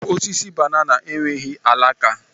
Osisi banana enweghị alaka